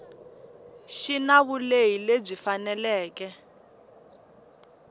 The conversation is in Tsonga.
xi na vulehi lebyi faneleke